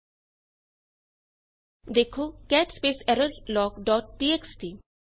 0ਦੇਖੋ cat space error log dot txt